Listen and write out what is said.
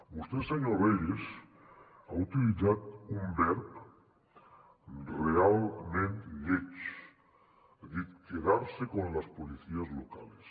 vostè senyor reyes ha utilitzat un verb realment lleig ha dit quedarse con las policías locales